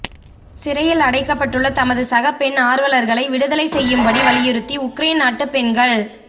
சிறையில் அடைக்கப்பட்டுள்ள தமது சக பெண் ஆர்வலர்களை விடுதலை செய்யும் படி வலியுறுத்தி உக்ரேன் நாட்டு பெண்கள்